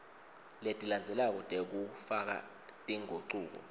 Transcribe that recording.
letilandzelako tekufaka tingucuko